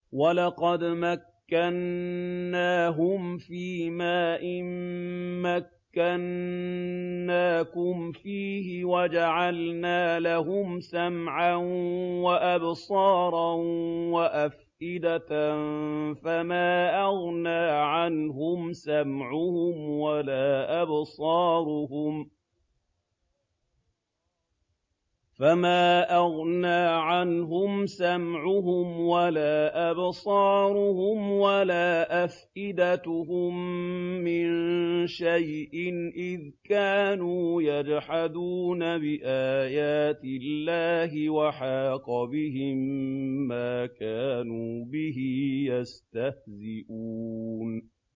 وَلَقَدْ مَكَّنَّاهُمْ فِيمَا إِن مَّكَّنَّاكُمْ فِيهِ وَجَعَلْنَا لَهُمْ سَمْعًا وَأَبْصَارًا وَأَفْئِدَةً فَمَا أَغْنَىٰ عَنْهُمْ سَمْعُهُمْ وَلَا أَبْصَارُهُمْ وَلَا أَفْئِدَتُهُم مِّن شَيْءٍ إِذْ كَانُوا يَجْحَدُونَ بِآيَاتِ اللَّهِ وَحَاقَ بِهِم مَّا كَانُوا بِهِ يَسْتَهْزِئُونَ